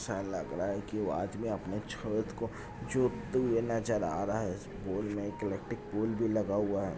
ऐसा लग रहा है कि वो अदमी अपने खेत को जोते हुए नजर आ रहा है पॉल मै एक इलेक्ट्रिक पॉल लगा हुआ है।